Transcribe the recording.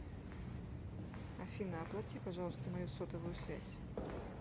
афина оплати пожалуйста мою сотовую связь